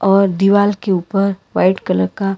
और दीवाल के ऊपर व्हाइट कलर का--